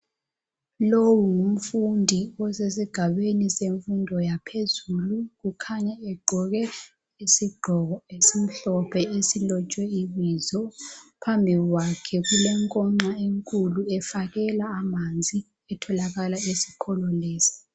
Lowu ngumfundi osesigabeni semfundo yaphezulu kukhanya egqoke isigqoko esimhlophe esilotshwe ibizo phambi kwakhe kulenkoxha enkulu efakela amanzi etholakala esikolo lesi.